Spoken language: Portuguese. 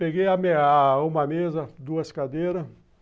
Peguei uma mesa, duas cadeiras.